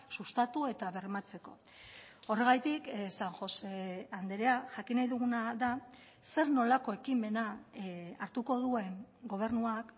sustatu eta bermatzeko horregatik san josé andrea jakin nahi duguna da zer nolako ekimena hartuko duen gobernuak